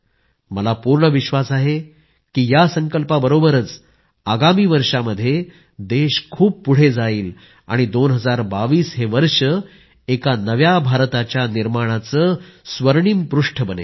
मला पूर्ण विश्वास आहे की या संकल्पाबरोबरच आगामी वर्षामध्ये देश खूप पुढे जाईल आणि 2022 हे वर्ष एका नव्या भारताच्या निर्माणाचे स्वर्णिम पृष्ठ बनेल